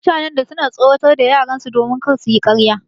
Mutanen da suna tsoratar da yaran su don kar suyi karya